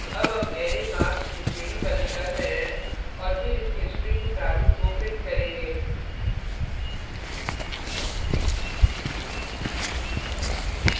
अब हम array marks को श्रेणीबद्ध कर रहे हैं और फिर इसके string प्रारूप को प्रिंट करेंगे